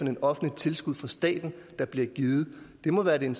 et offentligt tilskud fra staten der bliver givet det må være det